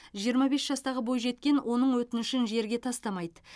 жиырма бес жастағы бойжеткен оның өтінішін жерге тастамайды